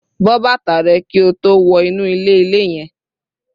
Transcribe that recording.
Bọ́ bàtà rẹ kí o tó wọ inú ilé-ilẹ̀ yẹn